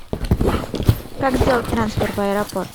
как сделать трансфер в аэропорт